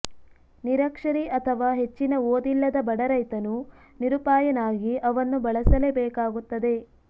ನಿರಕ್ಷರಿ ಅಥವಾ ಹೆಚ್ಚಿನ ಓದಿಲ್ಲದ ಬಡ ರೈತನು ನಿರುಪಾಯನಾಗಿ ಅವನ್ನು ಬಳಸಲೇ ಬೇಕಾಗುತ್ತದೆ